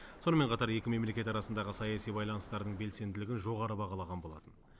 сонымен қатар екі мемлекет арасындағы саяси байланыстардың белсенділігін жоғары бағаланған болатын